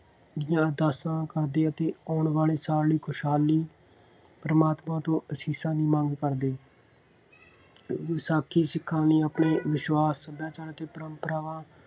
ਦੀਆਂ ਅਰਦਾਸਾਂ ਕਰਦੇ ਅਤੇ ਆਉਣ ਵਾਲੇ ਸਾਲ ਲਈ ਖੁਸ਼ਹਾਲੀ, ਪ੍ਰਮਾਤਮਾ ਤੋਂ ਆਸ਼ੀਸ਼ਾਂ ਦੀ ਮੰਗ ਕਰਦੇ। ਵਿਸਾਖੀ ਸਿੱਖਾਂ ਦੇ ਆਪਣੇ ਵਿਸ਼ਵਾਸ਼ ਸੱਭਿਆਚਾਰਕ ਪਰੰਪਰਾਵਾਂ